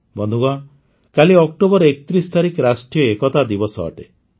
ବନ୍ଧୁଗଣ କାଲି ଅକ୍ଟୋବର ୩୧ ତାରିଖ ରାଷ୍ଟ୍ରୀୟ ଏକତା ଦିବସ ଅଟେ